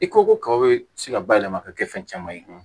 I ko ko ka be se ka bayɛlɛma ka kɛ fɛn caman ye